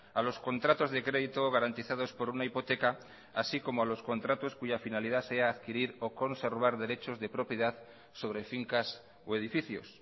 a los contratos de crédito garantizados por una hipoteca así como a los contratos cuya finalidad sea adquirir o conservar derechos de propiedad sobre fincas o edificios